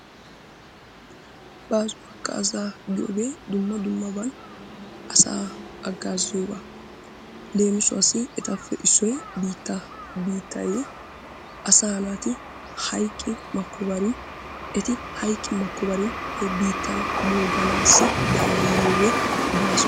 Baaso hagaazzaa giyoogee dumma dummaban asaa hagaazziyoogaa giyoogaa. leemissuwassi etappe issoy biittaa. Biittay asaa naati hayqqi makobare eti hayqqi makobare he biittan mooganaassi danddayiyoogee baaaso.